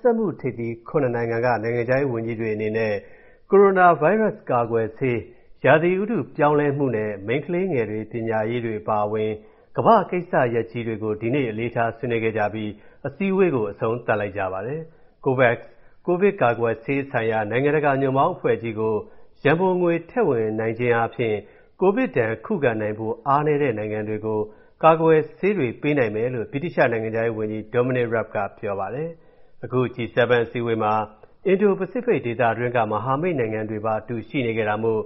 စက်မှုထိပ်သီး ၇ နိုင်ငံက နိုင်ငံခြားရေးဝန်ကြီးတွေအနေနဲ့ ကိုရိုနာဗိုင်းရပ်စ်ကာကွယ်ဆေး၊ ဥတုရာသီပြောင်းလဲမှုနဲ့ မိန်းကလေးငယ်တွေ ပညာရေးတွေအပါအဝင် ကမ္ဘာ့ကိစ္စရပ်ကြီးတွေကို ဒီနေ့ အလေးထားဆွေးနွေးခဲ့ကြပြီး အစည်းအဝေးကို အဆုံးသတ်လိုက်ပါတယ်။ COVAX ကိုဗစ်ကာကွယ်ဆေးဆိုင်ရာ နိုင်ငံတကာညွန့်ပေါင်းအဖွဲ့ကြီးကို ရန်ပုံငွေတွေထည့်ဝင်နိုင်ခြင်းအားဖြင့် ကိုဗစ်ဒဏ်ခုခံနိုင်ဖို့ အားနည်းတဲ့နိုင်ငံတွေကို ကာကွယ်ဆေးတွေ ပေးနိုင်မယ်လို့ ဗြိတိသျှနိုင်ငံခြားရေးဝန်ကြီး Dominic Rabb ကပြောပါတယ်။ အခု G7 အစည်းအဝေးမှာ အင်ဒိုပစိဖိတ်ဒေသတွင်းက မိတ်ဖက်နိုင်ငံတွေပါအတူ ရှိနေခဲ့တာမို့